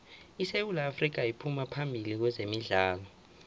isewu afrika iphuma phambili kwezemidlalo